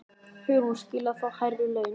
Hugrún: Skilið að fá hærri laun?